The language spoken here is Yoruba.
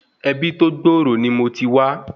Ebi tó gbòòrò ni mo ti wá